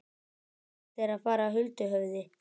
Flestir þeirra fara huldu höfði.